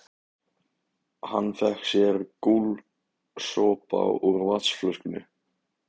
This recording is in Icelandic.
Hann fékk sér gúlsopa úr vatnsflöskunni.